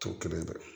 To kelen dɛ